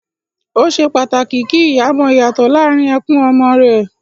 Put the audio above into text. Ó ṣe pàtàkì kí ìyá mọ ìyàtọ̀ láàrín ẹkún ọmọ rẹ